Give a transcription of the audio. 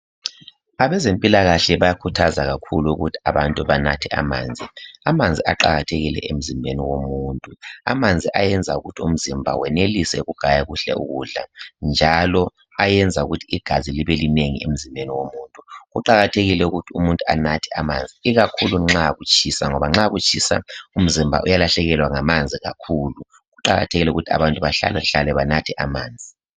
Abezempilakahle bayakhuthaza kakhulu ukuthi abantu banathe amanzi. Amanzi aqakathekile emzimbeni womuntu. Amanzi ayenza ukuthi umzimba wenelise ukugaya kuhle ukudla. Njalo ayenza ukuthi igazi libe linengi emzimbeni womuntu. Kuqakatgekile ukuthi umuntu anathe amanzi. Ikakhulu nxa kutshisa, ngoba nxa kutshisa umzimba uyalahlekelwa ngamanzi kakhulu. Kuqakathekile ukuthi umuntu ahlalahlale anathe amanzi.